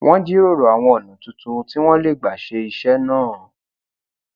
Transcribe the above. wón jíròrò àwọn ònà tuntun tí wón lè gbà ṣe iṣé náà